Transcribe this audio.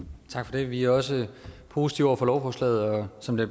det vi er også positive over for lovforslaget som det